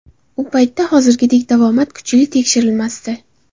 U paytda hozirgidek davomat kuchli tekshirilmasdi.